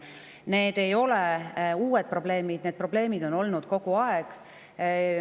Need ei ole uued probleemid, vaid need probleemid on olnud kogu aeg.